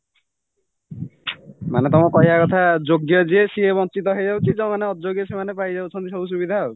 ମାନେ ତମ କହିବା କଥା ଯୋଗ୍ୟ ଯିଏ ସିଏ ବଞ୍ଚିତ ହେଇଯାଉଛି ଯୋଉମାନେ ଅଯୋଗ୍ୟ ସେଇମାନେ ପାଇଯାଉଛନ୍ତି ସବୁ ସୁବିଧାଆଉ